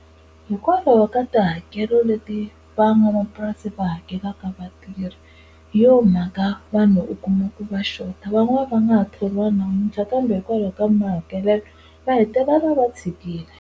Hikwalaho ka tihakelo leti van'wamapurasi va hakelaka vatirhi hi yo mhaka vanhu u kuma ku ri va xota van'wana va nga ha thoriwa namuntlha kambe hikwalaho ka mahakelelo va hetelela va tshikile.